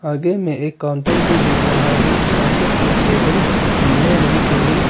आगे में एक काउंटर भी दिख रहा है काउंटर के टेबल नीले रंग के हैं।